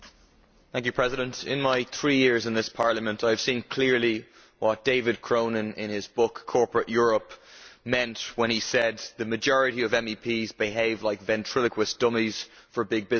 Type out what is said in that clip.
Mr President, in my three years in this Parliament I have seen clearly what David Cronin, in his book Corporate Europe', meant when he said that the majority of MEPs behave like ventriloquist dummies for big business.